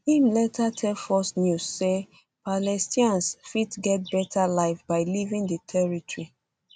im later tell fox news say palestinians fit get beta life by leaving di territory